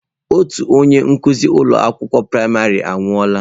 Otu onye nkuzi ụlọ akwụkwọ praịmarị m anwụọla.